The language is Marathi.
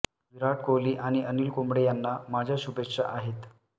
विराट कोहली आणि अनिल कुंबळे यांना माझ्या शुभेच्छा आहेत